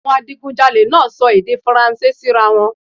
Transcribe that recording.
Awọn adigunjalè naa sọ èdè faranse sira wọn